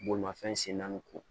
Bolimafɛn sen naani ko